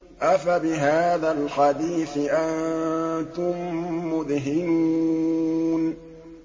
أَفَبِهَٰذَا الْحَدِيثِ أَنتُم مُّدْهِنُونَ